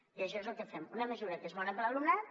i això és el que fem una mesura que és bona per a l’alumnat